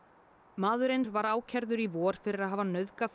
maðurinn var ákærður í vor fyrir að hafa nauðgað